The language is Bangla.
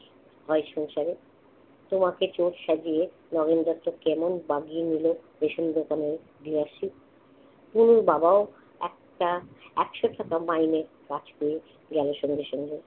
হয় সংসারে? তোমাকে চোর সাজিয়ে নগেনদাটা কেমন বাগিয়ে নিল রেশন দোকানের প্লটটি। তনুর বাবাও একটা একশো টাকা মাইনে রাখতে গেলে সঙ্গে সঙ্গে